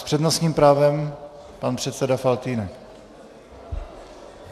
S přednostním právem pan předseda Faltýnek.